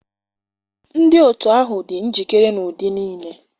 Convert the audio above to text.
Ndị otu ahụ dị njikere n'ụdị niile